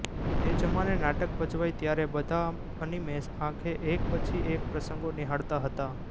એ જમાને નાટક ભજવાય ત્યારે બધા અનિમેષ આંખે એક પછી એક પ્રસંગો નિહાળતા હતા